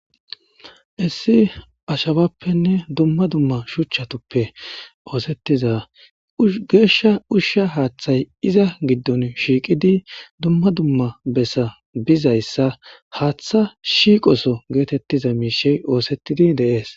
Heyis ashawappenne dumma dumma shuchatuppe osetiza gesha usha haththay iza gidon shiiqidi dumma dumma besa dizayisa haththa shiqoso getetiza mishi osetidi deas.